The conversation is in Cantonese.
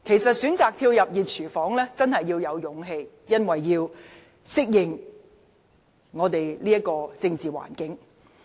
選擇跳入"熱廚房"真的需要勇氣，必須適應本港的政治環境。